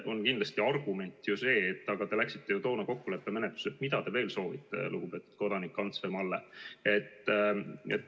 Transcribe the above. Aga kindlasti on seal argument, et aga te läksite ju toona kokkuleppemenetlusele, mida te veel soovite, lugupeetud kodanikud Ants ja Malle.